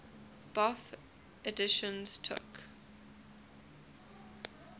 bofh editions took